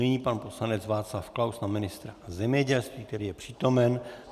Nyní pan poslanec Václav Klaus na ministra zemědělství, který je přítomen.